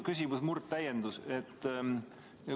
Pigem täiendus.